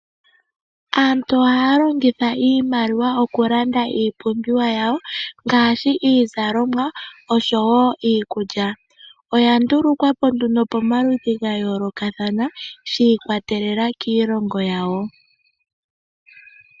Aantu ohaya longitha iimaliwa okulanda iipumbiwa yawo ngaashi iizalomwa osho woiikulya, oya ndulukwapo nduno pomaludhi gayolokathana shiikwatelela kiilongo yayo.